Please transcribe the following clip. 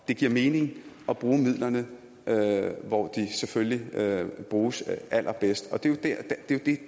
det giver mening at bruge midlerne hvor de selvfølgelig bruges allerbedst